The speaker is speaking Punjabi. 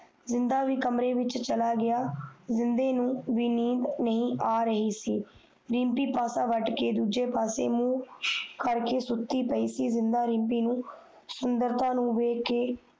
ਜਿੰਨਦਾ ਵੀ ਕਮਰੇ ਵਿਚ ਚੱਲਾ ਗਯਾ ਜਿੰਨਦੇ ਨੂੰ ਬੀ ਨੀਂਦ ਨਹੀਂ ਆ ਰਹੀ ਸੀ ਰਿਮਪੀ ਪਾਸ ਵਾਟ ਕੇ ਸੁੱਤੀ ਹੋਇ ਸੀ ਜਿੰਦਾ ਰਿਮਪੀ ਦੀ ਸੁੰਦਰਤਾ ਨੂੰ ਦੇਖ ਕੇ